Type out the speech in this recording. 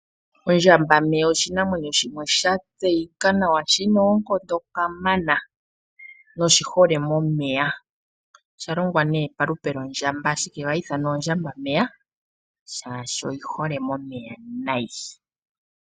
Ondjambameya oshinamwenyo shimwe sha tseyika nawa shina oonkondo kamana na oshihole momeya. Osha shitwa nee palupe lwondjamba ashike ohashi ithanwa ondjambameya, molwaashoka oyihole momeya noonkondo.